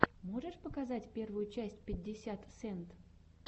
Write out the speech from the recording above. можешь показать первую часть пятьдесят сент